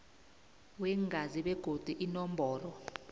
weengazi begodu inomboro